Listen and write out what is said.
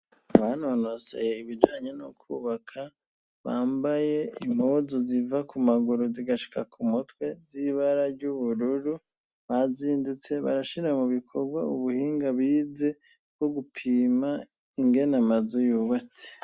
Abanonoseye ibijanye no kubaka bambaye impuzu ziva ku maguru zigashika ku mutwe z'ibara ry'ubururu, bazindutse barashira mu bikorwa ubuhinga bize bwo gupima ingene amazu yubatse.